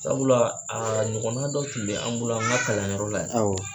Sabula aa ɲɔgɔnna dɔ tun be an bolo an ŋa kalanyɔrɔ la ye. Awɔ.